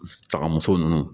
Sagamuso nunnu